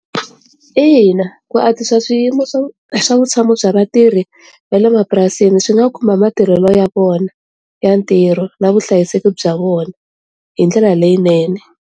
Ina, ku answisa swiyimo swa vutshamo bya vatirhi va le mapurasini swi nga khumba matirhelo ya vona ya ntirho na vuhlayiseki bya vona hi ndlela leyinene.